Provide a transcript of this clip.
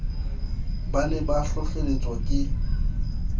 ba ne ba hlohlelletswa ke